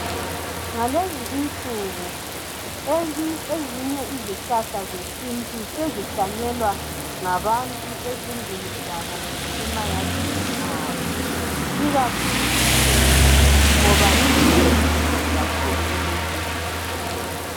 Ngalezinsuku izinye izihlahla zesintu sezihlanyelwa ngabantu ezindlini zabo kumbe emayadini abo ngoba ikakhulu incena ngoba lilusizo kakhulu emuntwini.